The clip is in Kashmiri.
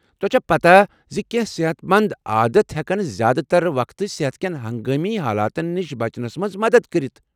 تۄہہ چھوٕ پتاہ زِ کینٛہہ صحت مند عادت ہٮ۪کن زیادٕ تر وقتہٕ صحت کٮ۪ن ہنگامی حالاتن نش بچنس منٛز مدتھ کٔرتھ؟